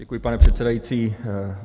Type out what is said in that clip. Děkuji, pane předsedající.